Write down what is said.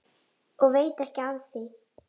Og veit ekki af því.